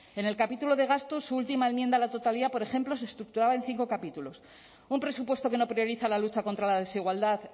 en el capítulo de gastos su última enmienda a la totalidad por ejemplo se estructuraba en cinco capítulos un presupuesto que no prioriza la lucha contra la desigualdad